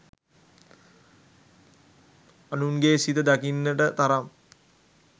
අනුන්ගේ සිත දකින්නට තරම්